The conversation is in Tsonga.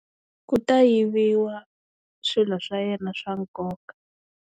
Ku ta yiviwa swilo swa yena swa nkoka.